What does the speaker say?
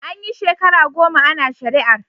An yi shekara goma ana shari'ar.